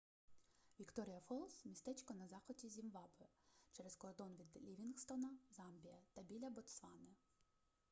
вікторія фолз містечко на заході зімбабве через кордон від лівінгстона замбія та біля ботсвани